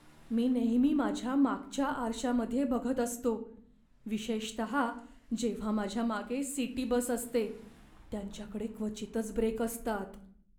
मी नेहमी माझ्या मागच्या आरशामध्ये बघत असतो, विशेषतहा जेव्हा माझ्या मागे सिटी बस असते. त्यांच्याकडे क्वचितच ब्रेक असतात.